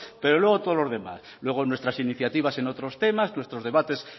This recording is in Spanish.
pero luego todos los demás luego nuestras iniciativas en otros temas nuestros debates